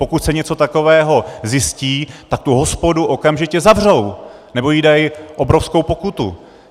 Pokud se něco takového zjistí, tak tu hospodu okamžitě zavřou nebo jí dají obrovskou pokutu.